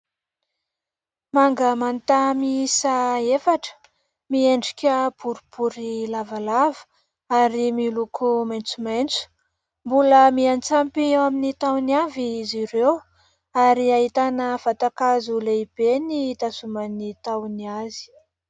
Manga manta miisa efatra, miendrika boribory lavalava ary miloko maitsomaitso. Mbola miantsampy eo amin'ny tahony avy izy ireo ary ahitana vatankazo lehibe ny itazoman'ny tahony azy.